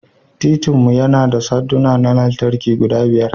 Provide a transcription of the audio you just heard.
Titin mu yana da sandunan lantarki guda biyar.